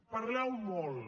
parleu molt